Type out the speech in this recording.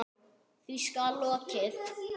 Því skal lokið.